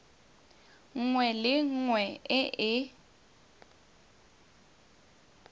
nngwe le nngwe e e